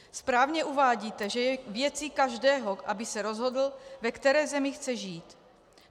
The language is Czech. Správně uvádíte, že je věcí každého, aby se rozhodl, ve které zemi chce žít.